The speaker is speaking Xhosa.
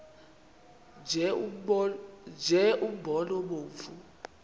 nje umbona obomvu